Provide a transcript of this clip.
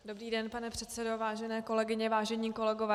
Dobrý den, pane předsedo, vážené kolegyně, vážení kolegové.